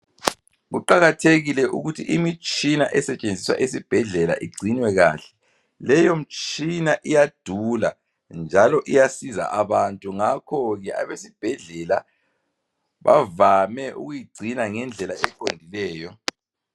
Kuqakathekile ukuthi imitshina esetshenziswa ezibhedlela igcinwe kahle, leyo mtshina iyadula njalo iyasiza abantu ngakhoke abesibhedlela bavame ukuyigcina ngendlela eqondileyo.